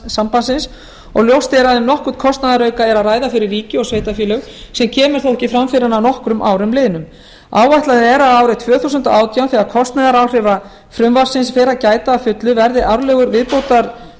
sambandsins og ljóst er að um nokkurn kostnaðarauka er að ræða fyrir ríki og sveitarfélög sem kemur þó ekki fram fyrr en að nokkrum árum liðnum áætlað er að árið tvö þúsund og átján þegar kostnaðaráhrifa frumvarpsins fer að gæta að fullu verði árlegur